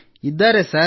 ಇದ್ದಾರೆ ಸರ್